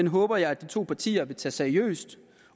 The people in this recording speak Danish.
håber jeg at de to partier vil tage seriøst